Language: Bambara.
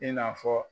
I n'a fɔ